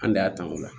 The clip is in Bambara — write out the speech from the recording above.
An de y'a kanu o